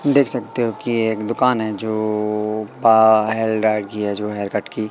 देख सकते हो कि एक दुकान है जो पा की है जो हेयर कट की।